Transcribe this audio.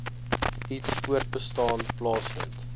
iets voortbestaan plaasvind